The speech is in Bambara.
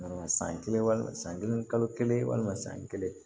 san kelen walima san kelen kalo kelen walima san kelen